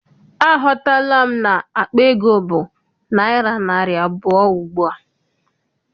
Aghọtala m na akpa ego bụ naịra narị abụọ ugbua.